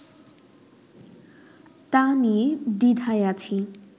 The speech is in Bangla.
তা নিয়ে দ্বিধায় আছি